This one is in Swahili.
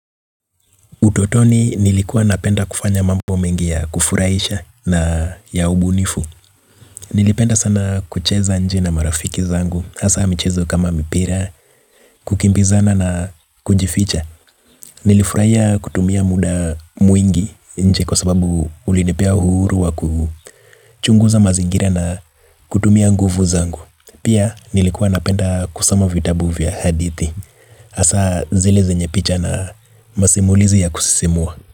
Utotoni nilikuwa napenda kufanya mambo mengi ya kufuraisha na ya ubunifu. Nilipenda sana kucheza nje na marafiki zangu. Asa michezo kama mipira, kukimbizana na kujificha. Nilifuraia kutumia muda mwingi nje kwa sababu ulinipea uhuru wa kuhu. Chunguza mazingira na kutumia nguvu zangu. Pia nilikuwa napenda kusoma vitabu vya hadithi. Asa zile zenye picha na masimulizi ya kusisimua.